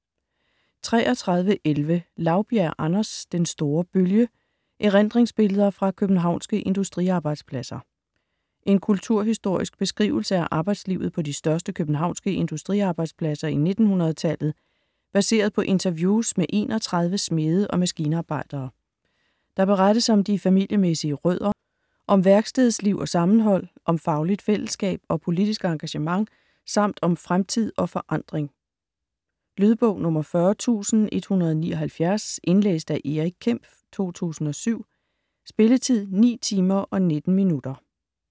33.11 Laubjerg, Anders: Den store bølge: erindringsbilleder fra københavnske industriarbejdspladser En kulturhistorisk beskrivelse af arbejdslivet på de største københavnske industriarbejdspladser i 1900-tallet, baseret på interviews med 31 smede og maskinarbejdere. Der berettes om de familiemæssige rødder, om værkstedsliv og sammenhold, om fagligt fællesskab og politisk engagement samt om fremtid og forandring. Lydbog 40179 Indlæst af Erik Kempf, 2007. Spilletid: 9 timer, 19 minutter.